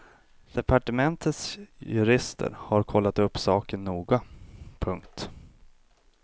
Departementets jurister har kollat upp saken noga. punkt